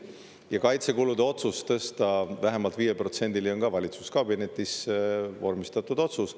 Ja kaitsekulude otsus tõsta vähemalt viie protsendini on ka valitsuskabinetis vormistatud otsus.